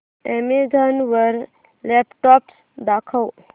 Amazon वर laptops दाखव